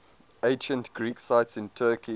ancient greek sites in turkey